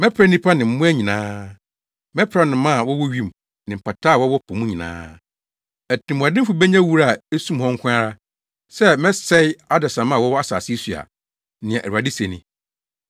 “Mɛpra nnipa ne mmoa nyinaa; mɛpra nnomaa a wɔwɔ wim ne mpataa a wɔwɔ po mu nyinaa. Atirimɔdenfo benya wura a esum hɔ nko ara, sɛ mesɛe adesamma a wɔwɔ asase yi so a,” nea Awurade se ni.